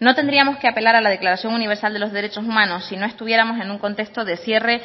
no tendríamos que apelar a la declaración universal de los derechos humanos si no estuviéramos en un contexto de cierre